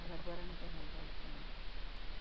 Mas agora não tem resguardo, não tem nada.